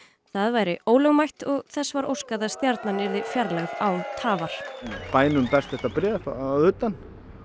það væri ólögmætt og þess var óskað að stjarnan yrði fjarlægð án tafar bænum berst þetta bréf að utan